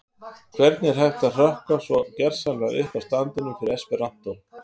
Hvernig er hægt að hrökkva svo gersamlega upp af standinum fyrir esperantó?